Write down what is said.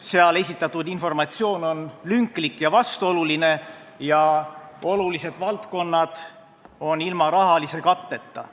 Seal esitatud informatsioon on lünklik ja vastuoluline ja olulised valdkonnad on ilma rahalise katteta.